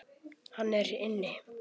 Hann er inni.